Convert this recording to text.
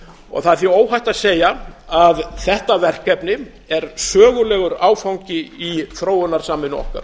það er því óhætt að segja að þetta verkefni er sögulegur áfangi í þróunarsamvinnu okkar